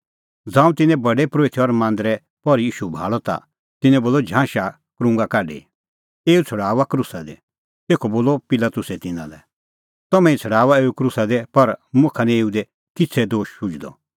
ज़ांऊं तिन्नैं प्रधान परोहितै और मांदरे पहरी ईशू भाल़अ ता तिन्नैं बोलअ झांशा क्रुंगा काढी एऊ छ़ड़ाऊआ क्रूसा दी तेखअ बोलअ पिलातुसै तिन्नां लै तम्हैं ई छ़ड़ाऊआ एऊ क्रूसा दी पर मुखा निं एऊ दी किछ़ै दोश शुझणअ